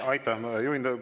Aitäh!